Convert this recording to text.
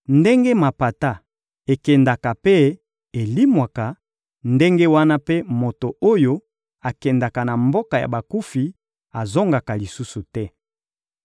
Ndenge mapata ekendaka mpe elimwaka, ndenge wana mpe moto oyo akendaka na mboka ya bakufi azongaka lisusu te.